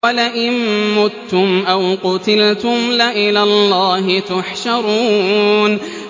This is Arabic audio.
وَلَئِن مُّتُّمْ أَوْ قُتِلْتُمْ لَإِلَى اللَّهِ تُحْشَرُونَ